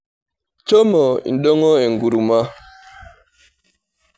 Shomo indong'o enkurumwa.